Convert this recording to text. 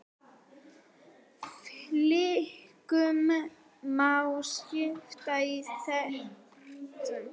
Fylkinu má skipta í þrennt.